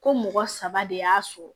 Ko mɔgɔ saba de y'a sɔrɔ